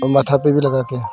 माथा पे भी लगाके है।